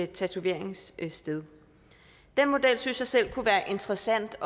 tatoveringssted den model synes jeg selv kunne være interessant